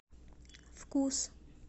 вкус